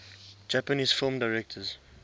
japanese film directors